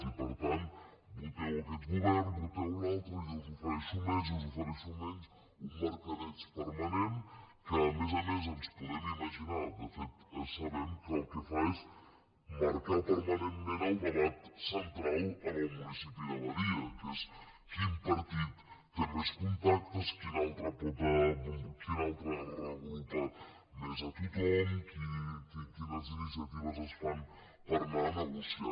i per tant voteu aquest govern voteu l’altre jo us ofereixo més jo us ofereixo menys un mercadeig permanent que a més a més ens podem imaginar de fet ho sabem que el que fa és marcar permanentment el debat central en el municipi de badia que és quin partit té més contactes quin altre reagrupa més a tothom quines iniciatives es fan per anar a negociar